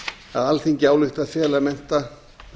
að alþingi álykti að fela mennta